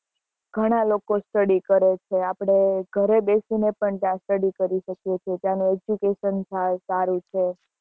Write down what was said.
ઘણા લોકો study કરે છે આપડે ઘરે બેસી ને પણ ત્યાં study કરી શકીએ છીએ ત્યાં નું education સાવ સારું છે